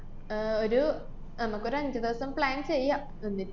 ആഹ് ഒരു നമ്മക്കൊരു അഞ്ച് ദിവസം plan ചെയ്യാം. എന്നിട്ട്